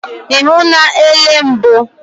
Ị hụla elebe mbụ?